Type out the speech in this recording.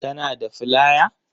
Kana da flaya?